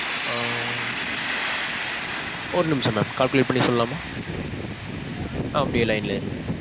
ஆ. ஒரு நிமிஷம் mam. Calculate பண்ணி சொல்லலாமா? அப்பிடியே line ல இருங்க.